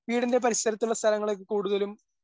വീടിൻ്റെ പരിസരത്തുള്ള സ്ഥലങ്ങളൊക്കെ കൂടുതലും